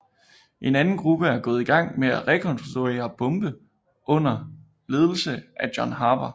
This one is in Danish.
En anden gruppe er gået i gang med at rekonstruere bombe under ledelse af John Harper